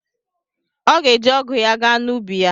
Ọ ga-eji ọgụ ya gaa n'ubi ya.